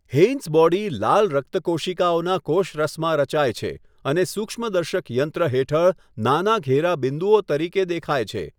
Heinz body લાલ રક્તકોશિકાઓના કોષરસમાં રચાય છે અને સૂક્ષ્મદર્શક યંત્ર હેઠળ નાના ઘેરા બિંદુઓ તરીકે દેખાય છે.